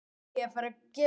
Það gilti hann einu.